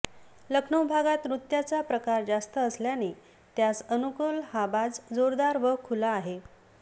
लखनौ भागात नृत्याचा प्रचार जास्त असल्याने त्यास अनुकल हा बाज जोरदार व खुला आहे